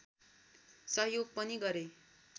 सहयोग पनि गरे